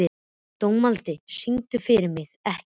Dómaldi, syngdu fyrir mig „Ekki“.